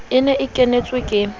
e ne e kenetswe ke